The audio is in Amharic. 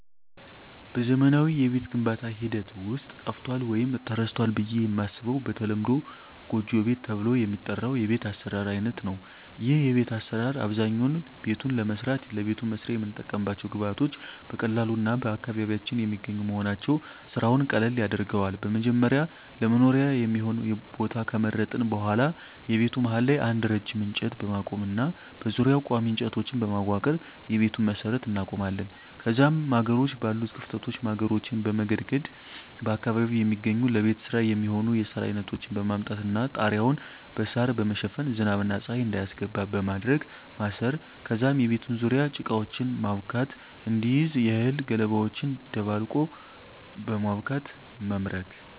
በዘመናዊ የቤት ግንባታ ሐደት ውስጥ ጠፍቶአል ወይም ተረስቶል ብየ የማስበው በተለምዶ ጎጆ ቤት ተብሎ የሚጠራው የቤት አሰራር አይነት ነው ይህ የቤት አሰራር አብዛኛውነ ቤቱን ለመስራት ለቤቱ መስሪያ የምንጠቀምባቸው ግብአቶች በቀላሉ እና በአካባቢያችን የሚገኙ መሆናቸው ስራውን ቀለል ያደርገዋል በመጀመሪያ ለመኖሪያ የሚሆን የቦታ ከመረጥን በሁዋላ የቤቱ መሀል ላይ አንድ ረጅም እንጨት በማቆም እና በዙሪያው ቆሚ እንጨቶችን በማዋቀር የቤቱን መሠረት እናቆማለን ከዛም ማገሮች ባሉት ክፍተቶች ማገሮችን በመገድገድ በአካባቢው የሚገኙ ለቤት ስራ የሚሆኑ የሳር አይነቶችን በማምጣት እና ጣራያውን በሳራ በመሸፈን ዝናብ እና ፀሀይ እንዳያስገባ በማድረግ ማሰር ከዛም የቤቱን ዙርያ ጭቃወችን ማብካት እንዲይዝ የእህል ገለባወችን ደባልቆ በማብካት መምረግ።